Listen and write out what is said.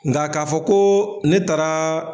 Nka k'a fɔ ko ne taara.